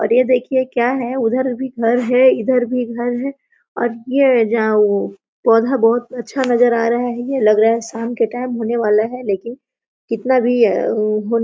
और ये देखिये क्या है उधर भी घर है इधर भी घर है और ये जो पौधा बहुत अच्छा नजर आ रहा है ये लग रहा शाम के टाइम होने वाला है लेकिन कितना भी होने--